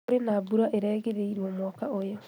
Kũrĩ na mbura ĩrerĩgĩrĩrwo mweri ũyũ